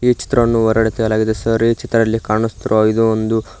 ಈ ಚಿತ್ರವನ್ನು ಹೊರ್ಗಡೆ ತೆಗೆಯಲಾಗಿದೆ ಸರ್ ಈ ಚಿತ್ರದಲ್ಲಿ ಕಾಣಿಸುತ್ತಿರುವ ಇದು ಒಂದು--